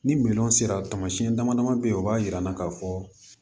Ni sera tamasiyɛn dama dama be yen o b'a yira an na k'a fɔ